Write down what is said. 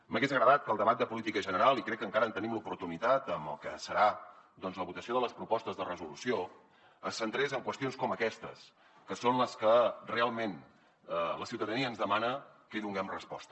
m’hagués agradat que el debat de política general i crec que encara en tenim l’oportunitat amb el que serà la votació de les propostes de resolució es centrés en qüestions com aquestes que són a les que realment la ciutadania ens demana que hi donem resposta